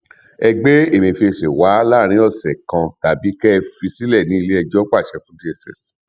ẹ gbé emefísé wa láàrin ọsẹ kan tàbí kẹẹ fi sílé ilé ẹjọ pa ṣe fún dss